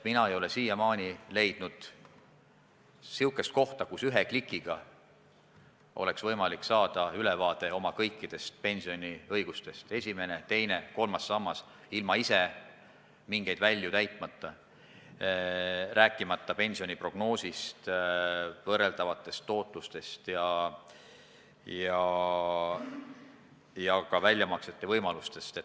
Mina ei ole siiamaani leidnud sellist kohta, kust oleks ühe klikiga võimalik saada ülevaade oma kõikidest pensioniõigustest, ilma et ise peaks mingeid välju täitma: esimene, teine ja kolmas sammas, rääkimata pensioni prognoosist, võrreldavatest tootlustest ja ka väljamaksete võimalustest.